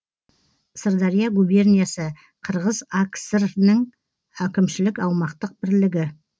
сырдария губерниясы қырғыз акср інің әкімшілік аумақтық бірлігі